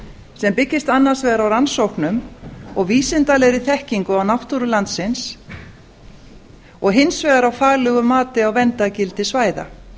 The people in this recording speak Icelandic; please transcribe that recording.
sem byggist annars vegar á rannsóknum og vísindalegri þekkingu á náttúru landsins og hins vegar á faglegu mati á verndargildi svæða